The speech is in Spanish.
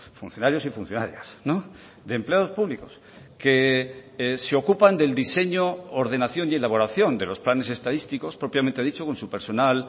funcionarios y funcionarias de empleados públicos que se ocupan del diseño ordenación y elaboración de los planes estadísticos propiamente dicho con su personal